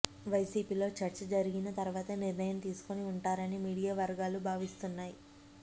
వైసీపీలో చర్చ జరిగిన తర్వాతే నిర్ణయం తీసుకుని ఉంటారని మీడియా వర్గాలు భావిస్తున్నాయి